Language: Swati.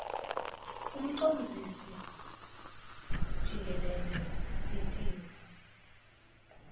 umcondzisi jikelele litiko